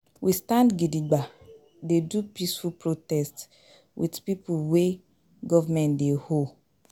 We stand gidigba dey do peaceful protest with pipo wey government dey owe.